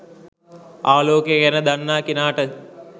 ආලෝකය ගැන දන්නා කෙනාට